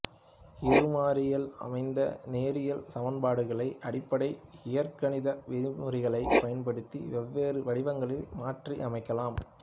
இரு மாறியில் அமைந்த நேரியல் சமன்பாடுகளை அடிப்படை இயற்கணித விதிமுறைகளைப் பயன்படுத்தி வெவ்வேறு வடிவங்களில் மாற்றி அமைக்கலாம்